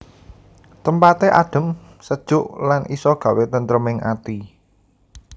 Tempate adhem sejuk lan isa gawé tentreming ati